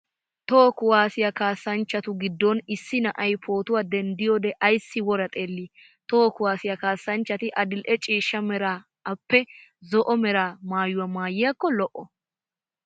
Toho kuwaasiya kaassanchchati giddon issi na'ay pootuwa denttiyoode ayssi wora xeelli? Toho kuwaasiya kassanchati adil'e ciishsha Mera appe zo'o mera maayuwaa maayiyaakko lo'o.